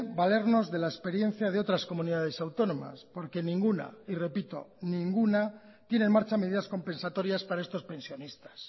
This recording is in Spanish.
valernos de la experiencia de otras comunidades autónomas porque ninguna y repito ninguna tiene en marcha medidas compensatorias para estos pensionistas